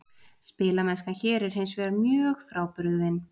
Spilamennskan hér er hinsvegar mjög frábrugðin.